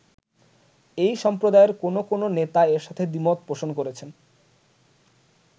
এই সম্প্রদায়ের কোন কোন নেতা এর সাথে দ্বিমত পোষণ করেছেন।